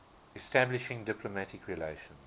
establishing diplomatic relations